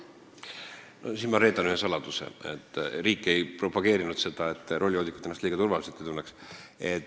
Ma reedan ühe saladuse, mida riik ei propageerinud, selleks et roolijoodikud ennast liiga turvaliselt ei tunneks.